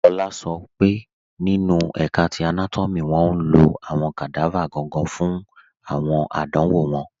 Lọlá sọ nínu ẹ̀ká ti anátọ́mì wọn ló awọn kadava gangan fun awọn àdánwọ̀ wọn